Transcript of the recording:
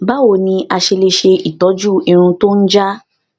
báwo ni a ṣe lè se itoju irun to n ja